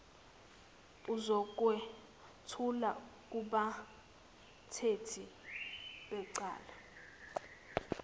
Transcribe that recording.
uzokwethula kubathethi becala